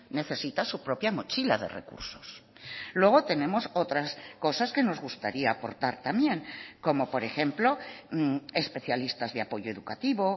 necesita su propia mochila de recursos luego tenemos otras cosas que nos gustaría aportar también como por ejemplo especialistas de apoyo educativo